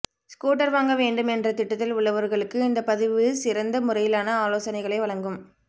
scooter வாங்கவேண்டும் என்ற திட்டத்தில் உள்ளவர்களுக்கு இந்த பதிவு சிறந்த முறையிலான ஆலோசனைகளை வழங்கும்